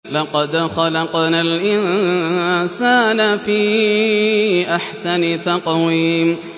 لَقَدْ خَلَقْنَا الْإِنسَانَ فِي أَحْسَنِ تَقْوِيمٍ